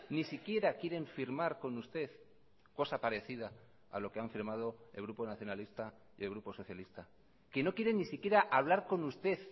ni siquiera quieren firmar con usted cosa parecida a lo que han firmado el grupo nacionalista y el grupo socialista que no quieren ni siquiera hablar con usted